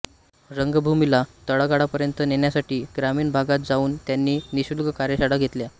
रंगभूमीला तळागाळापर्यंत नेण्यासाठी ग्रामीण भागात जाऊन त्यांनी निःशुल्क कार्यशाळा घेतल्या